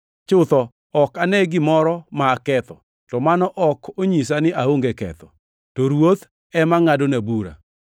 Chutho ok ane gimoro ma aketho, to mano ok onyisa ni aonge ketho. To Ruoth ema ngʼadona bura.